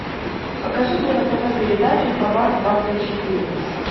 покажи мне на тв передачу хабар двадцать четыре